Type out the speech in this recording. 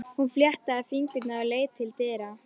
Hún fléttaði fingurna og leit til dyra.